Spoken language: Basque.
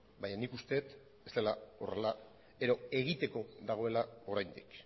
baina nik uste dut ez dela horrela edo egiteko dagoela oraindik